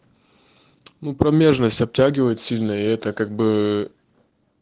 ну промежность обтягивает сильно и это как бы